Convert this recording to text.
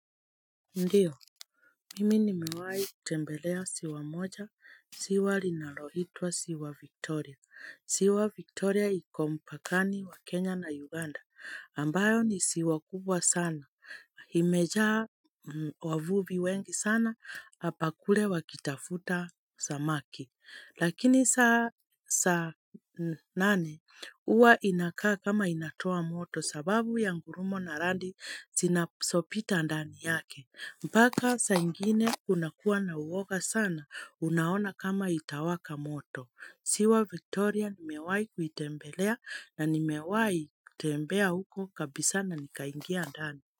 Ndio, mimi nimewahi tembelea siwa moja, siwa linalo hitua siwa Victoria. Siwa Victoria iko mpakani wa Kenya na Uganda, ambayo ni siwa kubwa sana. Imejaa wavuvi wengi sana, hapakule wakitafuta samaki. Lakini saa nane, huwa inakaa kama inatoa moto sababu ya ngurumo na radi zinazopita ndani yake. Mpaka saa ingine kunakuwa na uwoga sana, unaona kama itawaka moto. Siwa Victoria nimewai kuitembelea na ni mewai kutembea huko kabisa na nikaingia ndani.